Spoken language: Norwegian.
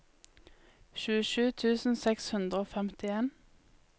tjuesju tusen seks hundre og femtien